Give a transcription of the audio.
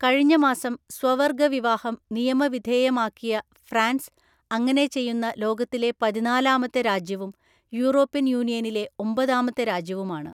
കഴിഞ്ഞ മാസം സ്വവർഗ വിവാഹം നിയമവിധേയമാക്കിയ ഫ്രാൻസ് അങ്ങനെ ചെയ്യുന്ന ലോകത്തിലെ പതിനാലാമത്തെ രാജ്യവും യൂറോപ്യൻ യൂണിയനിലെ ഒമ്പതാമത്തെ രാജ്യവുമാണ്.